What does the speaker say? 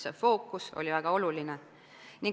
See fookus on väga oluline.